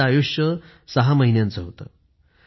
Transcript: त्याचे आयुष्य सहा महिन्याचं होतं